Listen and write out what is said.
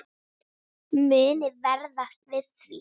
Muniði verða við því?